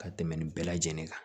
Ka tɛmɛ nin bɛɛ lajɛlen kan